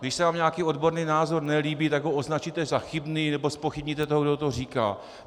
Když se vám nějaký odborný názor nelíbí, tak ho označíte za chybný nebo zpochybníte toho, kdo to říká.